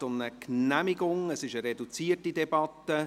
Es handelt sich um eine reduzierte Debatte.